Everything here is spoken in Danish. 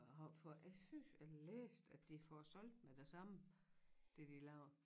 Jeg har jeg synes jeg læste at de får solgt med det samme det de laver